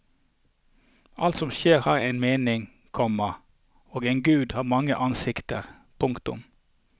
Alt som skjer har en mening, komma og en gud har mange ansikter. punktum